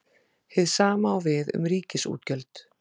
Hið sama á við um ríkisútgjöld.